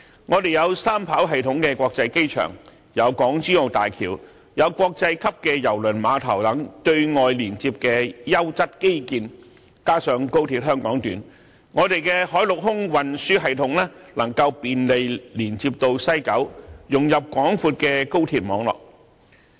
我們有三跑道系統的國際機場、港珠澳大橋、國際級的郵輪碼頭等對外連接的優質基建，加上高鐵香港段，海陸空運輸系統能夠便利連接到西九，融入廣闊的高鐵網絡。